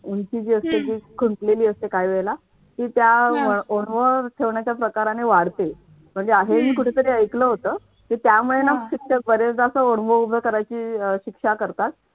उंची जी असते ती खुंटलेली असते काही वेळेला ती त्या ओणव ठेवण्याच्या प्रकाराने वाढते. म्हणजे हे मी कुठेतरी ऐकलं होतं. की त्यामुळे ना शिक्षक ते बऱ्याच बरेचदा असं ओणवे उभं करायची शिक्षा करतात.